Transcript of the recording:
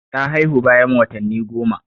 Ta haihu bayan watanni goma.